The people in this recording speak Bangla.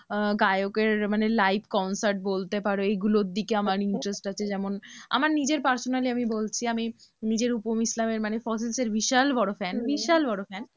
আহ গায়কের live concert বলতে পারো এগুলোদিকে আমার interest আছে যেমন আমার নিজের personally আমি বলছি আমি নিজে রুপম ইসলামের মানে ফসিলসের বিশাল বড় fan বিশাল বড় fan